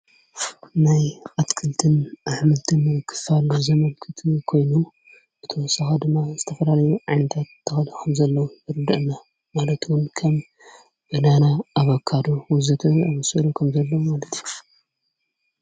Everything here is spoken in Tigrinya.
ናይ ኣትክልትን ኣኅምልትም ክፋሉ ዘመልክቲ ኾይኑ ብተወሰኺ ድማ ዝተፈላለዩ ዓይነታት ተክል ከም ዘለዉ የርድአና ማለት ዉን ከም ባናና ኣባካዶ ወዘትን ኣምስዕሎ ከም ዘለዉ ማለት እዩ።